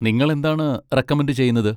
നിങ്ങൾ എന്താണ് റെക്കമൻഡ് ചെയ്യുന്നത്?